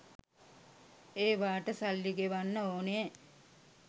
ඒවාට සල්ලි ගෙවන්න ඕනේ